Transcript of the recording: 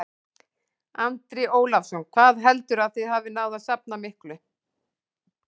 Andri Ólafsson: Hvað heldurðu að þið hafið náð að safna miklu?